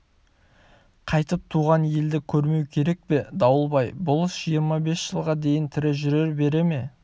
қайтып туған елді көрмеу керек пе дауылбай болыс жиырма бес жылға дейін тірі жүре бере ме